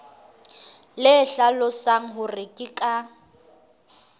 le hlalosang hore ke ka